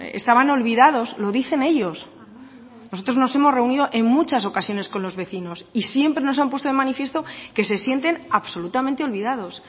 estaban olvidados lo dicen ellos nosotros nos hemos reunido en muchas ocasiones con los vecinos y siempre nos han puesto de manifiesto que se sienten absolutamente olvidados